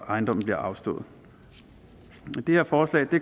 ejendommen bliver afstået det her forslag